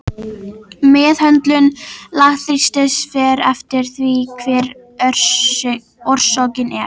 Meðhöndlun lágþrýstings fer eftir því hver orsökin er.